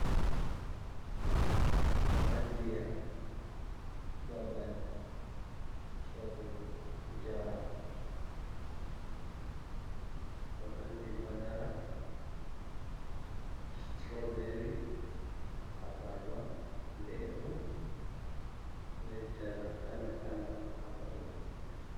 Holandiya babal sorugo njaram, holandi madara suturo beri, abarba lemu bei njaram kala kala ha babal man.